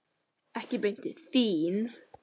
Ég gekk beint til þín.